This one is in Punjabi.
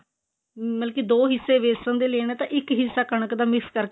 ਮਤਲਬ ਕੀ ਦੋ ਹਿੱਸੇ ਵੇਸਨ ਦੇ ਲੈਣੇ ਤੇ ਇੱਕ ਹਿੱਸਾ ਕਣਕ ਦਾ mix ਕਰਕੇ